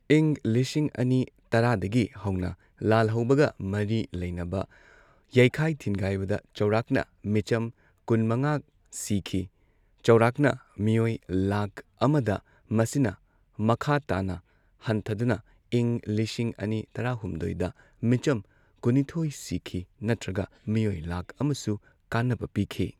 ꯏꯪ ꯂꯤꯁꯤꯡ ꯑꯅꯤ ꯇꯔꯥꯗꯒꯤ ꯍꯧꯅ ꯂꯥꯜꯍꯧꯕꯒ ꯃꯔꯤ ꯂꯩꯅꯕ ꯌꯩꯈꯥꯏ ꯊꯤꯟꯒꯥꯏꯕꯗ ꯆꯥꯎꯔꯥꯛꯅ ꯃꯤꯆꯝ ꯀꯨꯟꯃꯉꯥ ꯁꯤꯈꯤ ꯆꯥꯎꯔꯥꯛꯅ ꯃꯤꯑꯣꯏ ꯂꯥꯈ ꯑꯃꯗ ꯃꯁꯤꯅ ꯃꯈꯥ ꯇꯥꯅ ꯍꯟꯊꯗꯨꯅ ꯏꯪ ꯂꯤꯁꯤꯡ ꯑꯅꯤ ꯇꯔꯥꯍꯨꯝꯗꯣꯢꯗ ꯃꯤꯆꯝ ꯀꯨꯟꯅꯤꯊꯣꯢ ꯁꯤꯈꯤ ꯅꯠꯇ꯭ꯔꯒ ꯃꯤꯑꯣꯏ ꯂꯥꯛ ꯑꯃꯁꯨ ꯀꯥꯟꯅꯕ ꯄꯤꯈꯤ꯫